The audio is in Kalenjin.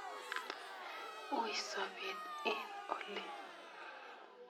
Ui sopet eng' oli